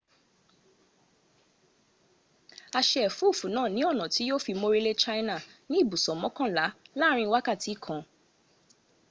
a se efufu naa ni ona ti yio fi morile china ni ibuso mokanla laarin wakati kan